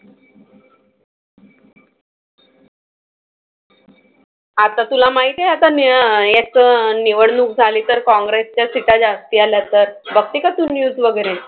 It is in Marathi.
आता तुला माहिती आहे आता मी एक निवडणूक झाली तर काँग्रेसच्या सीटा जास्ती आल्या तर. बघते का तू news वगैरे?